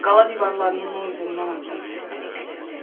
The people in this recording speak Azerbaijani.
Qala divarlarının o üzündən addım səsləri gəlirdi.